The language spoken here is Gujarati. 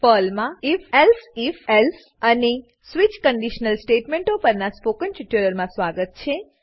પર્લમાં if elsif else if elsif else અને સ્વિચ સ્વીચ કંડીશનલ સ્ટેટમેંટો પરનાં સ્પોકન ટ્યુટોરીયલમાં સ્વાગત છે